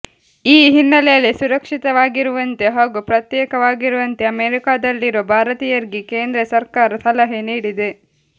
ಈ ಹಿನ್ನೆಲೆಯಲ್ಲಿ ಸುರಕ್ಷಿತರಾಗಿರುವಂತೆ ಹಾಗೂ ಪ್ರತ್ಯೇಕವಾಗಿರುವಂತೆ ಅಮೆರಿಕಾದಲ್ಲಿರುವ ಭಾರತೀಯರಿಗೆ ಕೇಂದ್ರ ಸರ್ಕಾರ ಸಲಹೆ ನೀಡಿದೆ